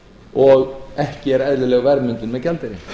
og ekki er eðlileg verðmyndun með gjaldeyri